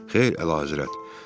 Xeyr, Əlahəzrət.